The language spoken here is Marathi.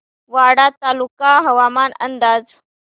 वाडा तालुका हवामान अंदाज